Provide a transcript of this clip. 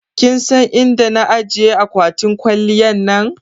kinsan inda na ajiye akwatin kwaliyan na?